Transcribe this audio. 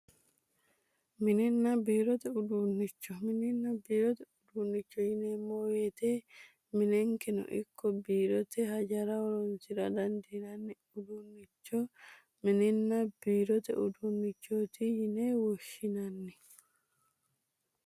Mininna biirote uduunnicho mininna biirote uduunnicho yineemmo woyte minenkeno ikko biirote hajara horonsira dandiinanni uduunnicho mininna biirote uduunnicho yine woshshinanni